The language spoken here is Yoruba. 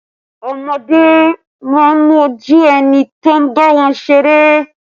Ọmọdé máa ń mójú ẹni tó ń bá wọn ṣeré